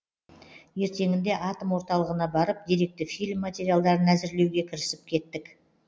ертеңінде атом орталығына барып деректі фильм материалдарын әзірлеуге кірісіп кеттік